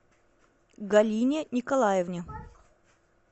галине николаевне